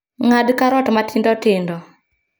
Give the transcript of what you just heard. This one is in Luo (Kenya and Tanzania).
Ng'ad karot matindotindo